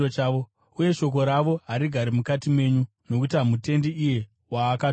uye shoko ravo harigari mukati menyu, nokuti hamutendi iye waakatuma.